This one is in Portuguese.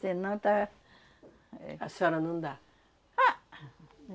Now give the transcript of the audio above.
Senão tá... Éh, a senhora não dá. Ha, ha.